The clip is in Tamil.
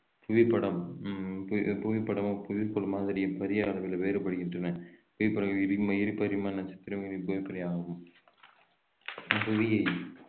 புவிப்படம் ஹம் புவி~ புவிப்படம் புவிப்படம் மாதிரி பெரிய அளவிலே வேறுபடுகின்றன புவியை